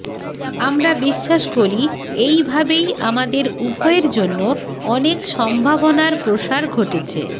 আমরা বিশ্বাস করি এই ভাবেই আমাদের উভয়ের জন্য অনেক সম্ভাবনার প্রসার ঘটেছে